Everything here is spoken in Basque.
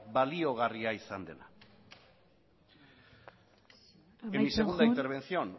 baliagarria izan dela amaitzen joan en mi segunda intervención